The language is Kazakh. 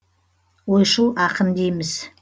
ойшыл ақын дейміз